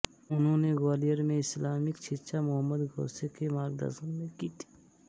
उन्होंने ग्वालियर में इस्लामिक शिक्षा मुहम्मद ग़ौसे के मार्गदर्शन में की थी